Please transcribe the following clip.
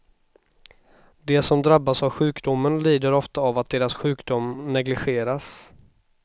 De som drabbas av sjukdomen lider ofta av att deras sjukdom negligeras.